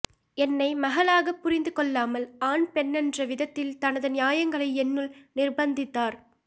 என்னை மகளாகப் புரிந்து கொள்ளாமல் ஆண் பெண்ணென்ற விதத்தில் தனது நியாயங்களை என்னுள் நிர்ப்பந்தித்தார்